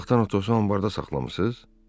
O vaxtdan Atosu anbarda saxlamısınız?